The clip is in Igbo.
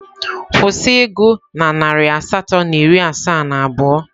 kwụsị ịgụ na narị asatọ na iri asaa na abụọ!.